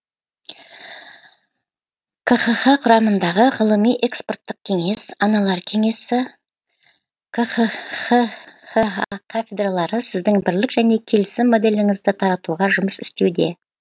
қха құрамындағы ғылыми экспорттық кеңес аналар кеңесі қха кафедралары сіздің бірлік және келісім моделіңізді таратуға жұмыс істеуде